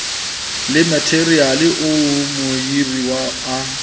le matheriale oo mohiruwa a